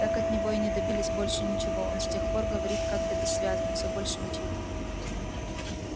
так от него и не добились больше ничего он с тех пор говорит как-то бессвязно все больше мычит